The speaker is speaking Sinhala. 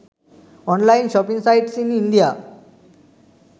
online shopping sites in india